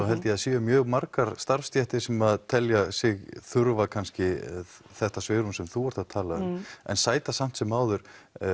held ég að séu mjög margar starfsstéttir sem telja sig þurfa kannski þetta svigrúm sem þú ert að tala um en sæta samt sem áður